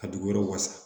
A duguyɔrɔ wasa